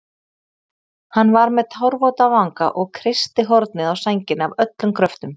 Hann var með tárvota vanga og kreisti hornið á sænginni af öllum kröftum.